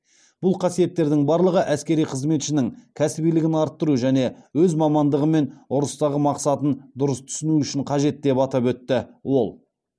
бұл қасиеттердің барлығы әскери қызметшінің кәсібилігін арттыру және өз мамандығы мен ұрыстағы мақсатын дұрыс түсіну үшін қажет деп атап өтті ол